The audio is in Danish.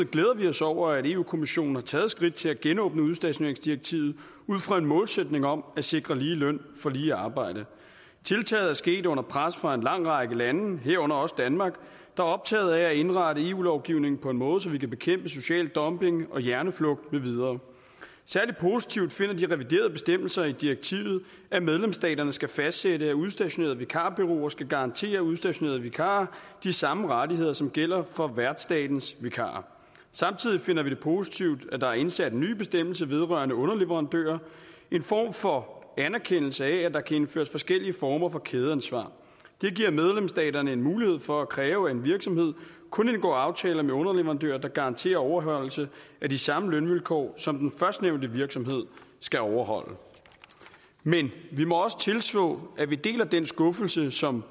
glæder vi os over at europa kommissionen har taget skridt til at genåbne udstationeringsdirektivet ud fra en målsætning om at sikre lige løn for lige arbejde tiltaget er sket under pres fra en lang række lande herunder også danmark der er optaget af at indrette eu lovgivningen på en måde så vi kan bekæmpe social dumping og hjerneflugt med videre særlig positivt finder de reviderede bestemmelser i direktivet at medlemsstaterne skal fastsætte at udstationerede vikarbureauer skal garantere udstationerede vikarer de samme rettigheder som gælder for værtsstatens vikarer samtidig finder vi det positivt at der er indsat en ny bestemmelse vedrørende underleverandører en form for anerkendelse af at der kan indføres forskellige former for kædeansvar det giver medlemsstaterne en mulighed for at kræve at en virksomhed kun indgår aftaler med underleverandører der garanterer overholdelse af de samme lønvilkår som den førstnævnte virksomhed skal overholde men vi må også tilstå at vi deler den skuffelse som